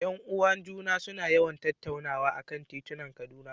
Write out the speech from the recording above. ’Yan uwan ​​juna suna yawan tattaunawa a kan titunan Kaduna.